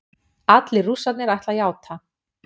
Allir Rússarnir ætla að játa